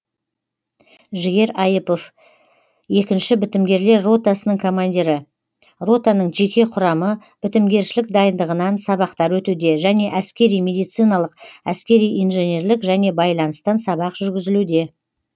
жігер айыпов екнші бітімгерлер ротасының командирі ротаның жеке құрамы бітімгершілік дайындығынан сабақтар өтуде және әскери медициналық әскери инженерлік және байланыстан сабақ жүргізілуде